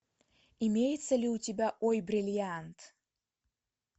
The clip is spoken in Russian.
имеется ли у тебя ой бриллиант